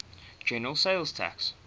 general sales tax